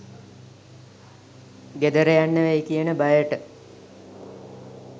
ගෙදරයන්න වෙයි කියන බයට